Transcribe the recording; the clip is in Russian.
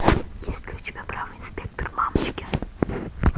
есть ли у тебя бравый инспектор мамочкин